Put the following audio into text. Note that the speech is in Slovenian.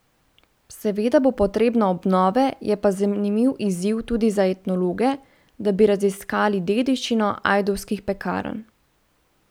Seveda bo potrebna obnove, je pa zanimiv izziv tudi za etnologe, da bi raziskali dediščino ajdovskih pekarn.